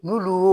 N'olu